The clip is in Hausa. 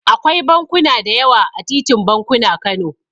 Akwai bankuna da yawa a titin bankuna, Kano.